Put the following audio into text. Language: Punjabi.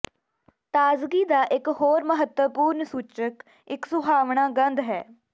ਤਾਜ਼ਗੀ ਦਾ ਇੱਕ ਹੋਰ ਮਹੱਤਵਪੂਰਣ ਸੂਚਕ ਇੱਕ ਸੁਹਾਵਣਾ ਗੰਧ ਹੈ